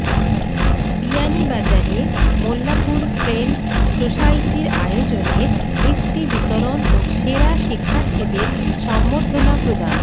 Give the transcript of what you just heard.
বিয়ানীবাজারে মোল্লাপুর ফ্রেন্ডস্ সোসাইটির আয়োজনে বৃত্তি বিতরণ ও সেরা শিক্ষার্থীদের সংবর্ধনা প্রদান